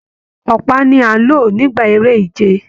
Ọpa ní a n ló nígbà eré ìje.